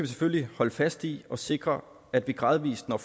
selvfølgelig holde fast i og sikre at vi gradvis når